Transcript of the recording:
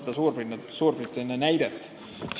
Te tõite Suurbritannia näite.